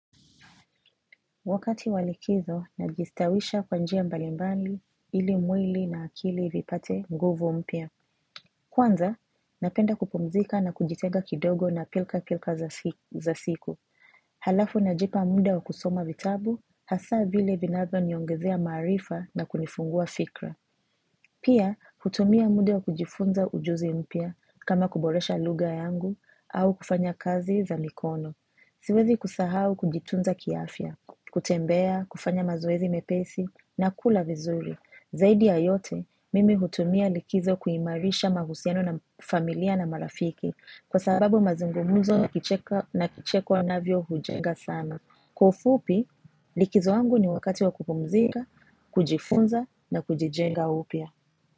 Wakati wa likizo, najistawisha kwa njia mbali mbali, ili mwili na akili vipate nguvu mpya. Kwanza, napenda kupumzika na kujitenga kidogo na pilka pilka za za siku. Halafu najipa mda wa kusoma vitabu, hasa vile vinazo niongezea maarifa na kunifungua fikra. Pia, hutumia mnda wa kujifunza ujuzi mpya kama kuboresha lugha yangu au kufanya kazi za mikono. Siwezi kusahau kujitunza kiafya, kutembea, kufanya mazoezi mepesi, na kula vizuri. Zaidi ya yote, mimi hutumia likizo kuimarisha mahusiano na familia na marafiki, kwa sababu mazungumuzo na kucheka kicheko ambavyo hujenga sana. Kwa ufupi, likizo wangu ni wakati wa kupumzika, kujifunza na kujijenga upya.